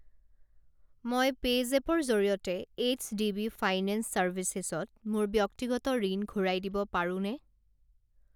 মই পে'জেপৰ জৰিয়তে এইচডিবি ফাইনেন্স চাৰ্ভিচেছ ত মোৰ ব্যক্তিগত ঋণ ঘূৰাই দিব পাৰোনে?